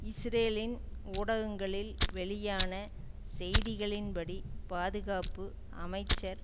இஸ்ரேலின் ஊடகங்களில் வெளியான செய்திகளின் படி பாதுகாப்பு அமைச்சர்